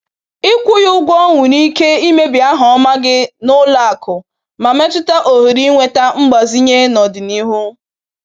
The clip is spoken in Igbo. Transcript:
Ịkwụghị ụgwọ nwere ike imebi aha ọma gị n’ụlọ akụ ma metụta ohere ịnweta mgbazinye n’ọdịnihu.